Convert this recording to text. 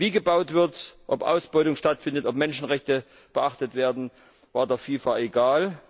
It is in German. Wie gebaut wird, ob Ausbeutung stattfindet, ob Menschenrechte beachtet werden, war der FIFA egal.